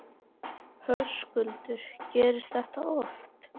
Höskuldur: Gerist þetta oft?